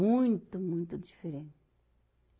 Muito, muito diferente.